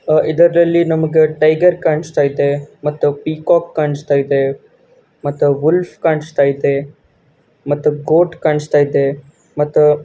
ಆಹ್ಹ್ ಇದರಲ್ಲಿ ನಮಗೇ ಟೈಗರ್ ಕಾಣಸ್ತಾ ಐತೆ ಮತ್ತ ಪಿಕೋಕ್ ಕಾಣಿಸ್ತಾ ಐತೆ ಮತ್ತ ಗುಲ್ಫ ಕಾಣಿಸ್ತಾ ಐತೆ ಮತ್ತ ಗೋಟ ಕಾಣಿಸ್ತಾ ಐತೆ ಮತ್ತ--